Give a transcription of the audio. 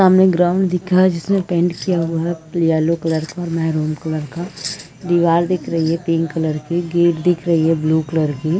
सामने ग्राउंड दिख रहा है जिसमें पेंट किया हुआ है येलो कलर का और मेहरून कलर का दिवार दिख रही है पिंक कलर की गेट दिख रही है ब्लू कलर की --.